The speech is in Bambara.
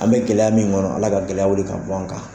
An bɛ gɛlɛya min kɔnɔ, Ala ka gɛlɛya wili ka bɔ an kan.